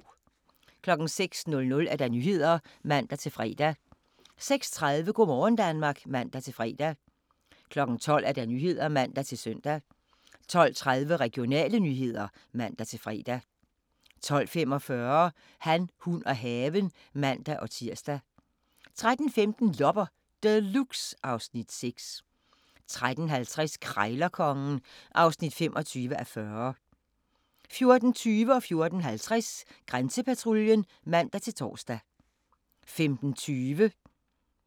06:00: Nyhederne (man-fre) 06:30: Go' morgen Danmark (man-fre) 12:00: Nyhederne (man-søn) 12:30: Regionale nyheder (man-fre) 12:45: Han, hun og haven (man-tir) 13:15: Loppe Deluxe (Afs. 6) 13:50: Krejlerkongen (25:40) 14:20: Grænsepatruljen (man-tor) 14:50: Grænsepatruljen (man-tor) 15:20: Alarm 112 (man-ons)